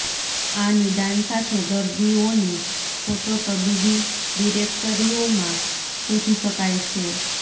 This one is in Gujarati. આ નિદાન સાથે દર્દીઓને ફોટો તબીબી ડિરેક્ટરીઓ માં શોધી શકાય છે